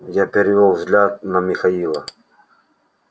я перевёл взгляд на михаила